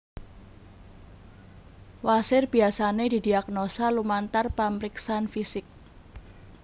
Wasir biyasane didiagnosa lumantar pamriksan fisik